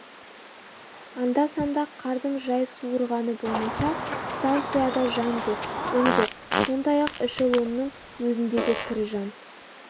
анда-санда қардың жай суырғаны болмаса станцияда жан жоқ үн жоқ сондай-ақ эшелонның өзінде де тірі жан